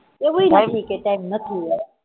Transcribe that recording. એવુંય નથી કે time નથી હં